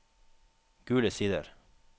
Gule Sider